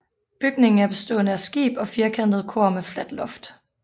Bygningen er bestående af skib og firkantet kor med fladt loft